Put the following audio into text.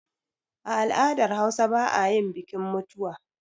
A al'dar hausa ba ayin bikin mutuwa